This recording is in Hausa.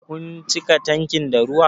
Kun cika tankin da ruwa?